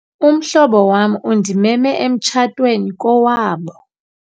Umhlobo wam undimeme emtshatweni kowabo.